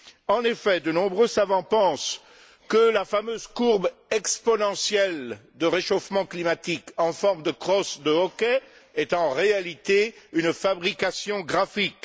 En effet, de nombreux savants pensent que la fameuse courbe exponentielle du réchauffement climatique en forme de crosse de hockey est en réalité une fabrication graphique.